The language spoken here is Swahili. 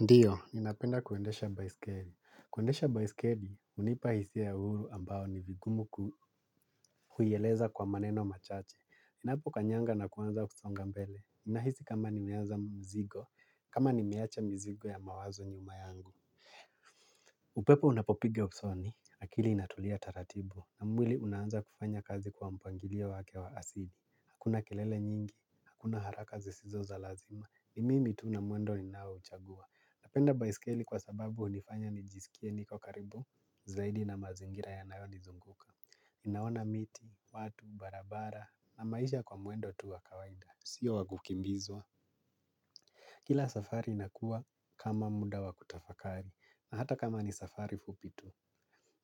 Ndiyo, ninapenda kuendesha baiskeli. Kuendesha baiskeli hunipa hisia ya uhuru ambao ni vigumu kuieleza kwa maneno machache. Inapo kanyanga na kuanza kusonga mbele. Nahisi kama niweanza mzigo, kama nimewacha mzigo ya mawazo nyuma yangu. Upepo unapopige usoni, akili inatulia taratibu na mwili unaanza kufanya kazi kwa mpangilia wake wa asili. Hakuna kelele nyingi, hakuna haraka zisizo za lazima, ni mimi tu na mwendo ninao uchagua. Napenda baiskeli kwa sababu hunifanya nijisikie niko karibu zaidi na mazingira yanayonizunguka naona miti, watu, barabara, na maisha kwa mwendo tu wa kawaida sio wa kukimbizwa. Kila safari inakuwa kama muda wa kutafakari na hata kama ni safari fupi tu.